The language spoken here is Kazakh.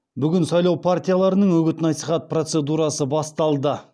бүгін сайлау партияларының үгіт насихат процедурасы басталды